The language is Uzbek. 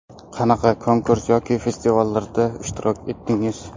Qanaqa konkurs yoki festivallarda ishtirok etdingiz?